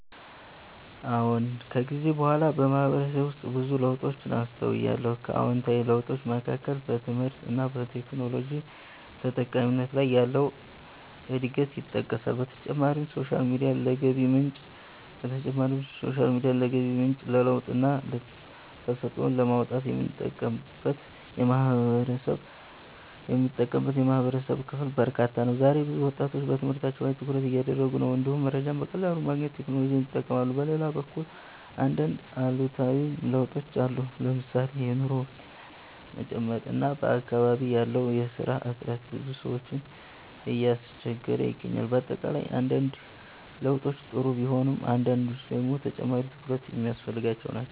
አዎን። ከጊዜ በኋላ በማህበረሰቤ ውስጥ ብዙ ለውጦችን አስተውያለሁ። ከአዎንታዊ ለውጦች መካከል በትምህርት እና በቴክኖሎጂ ተጠቃሚነት ላይ ያለው እድገት ይጠቀሳል። በተጨማሪም ሶሻል ሚዲያን ለገቢ ምንጭ፣ ለለውጥና ተሰጥኦን ለማውጣት የሚጠቀምበት የማህበረሰብ ክፍል በርካታ ነው። ዛሬ ብዙ ወጣቶች በትምህርታቸው ላይ ትኩረት እያደረጉ ነው፣ እንዲሁም መረጃን በቀላሉ ለማግኘት ቴክኖሎጂን ይጠቀማሉ። በሌላ በኩል አንዳንድ አሉታዊ ለውጦችም አሉ። ለምሳሌ የኑሮ ውድነት መጨመር እና በአካባቢ ያለው የስራ እጥረት ብዙ ሰዎችን እያስቸገረ ይገኛል። በአጠቃላይ አንዳንድ ለውጦች ጥሩ ቢሆኑም አንዳንዶቹ ደግሞ ተጨማሪ ትኩረት የሚያስፈልጋቸው ናቸው።